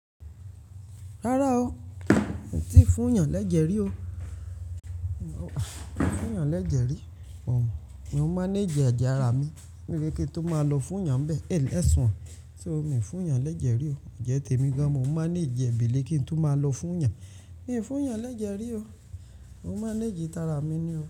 Rárá o, mi ò tíì fún yàn lẹ́jẹ̀ rí o. Mi ò fún yàn lẹ́jẹ̀ rí o. Mò ń manage ẹ̀jẹ̀ ara mi, mo ní wípé kí n tún máa lọ fún'yàn bẹ́ẹ̀, èyí ló sùn. Miì fún'yàn lẹ́jẹ̀ rí o. Ẹ̀jẹ̀ tèmi gan an, mò ń manage ẹ̀, bèlè kí n tún máa lọ fún'yàn. Mi ò fún yàn lẹ́jẹ̀ rí o. Mò ń manage tara mi ni o.